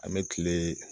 An bɛ kile